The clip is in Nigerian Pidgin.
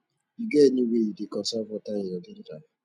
you get any way you dey conserve water in your daily life